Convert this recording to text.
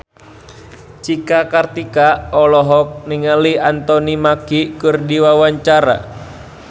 Cika Kartika olohok ningali Anthony Mackie keur diwawancara